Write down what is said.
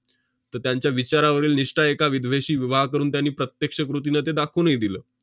तर त्यांच्या विचारावरील निष्ठा एका विधवेशी विवाह करून त्यांनी प्रत्यक्ष कृतीनं ते दाखवूनही दिलं.